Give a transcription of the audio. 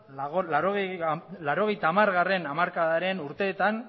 laurogeita hamargarrena hamarkadaren urteetan